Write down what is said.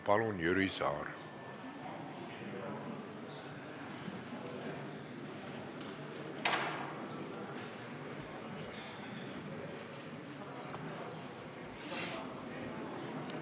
Palun, Jüri Saar!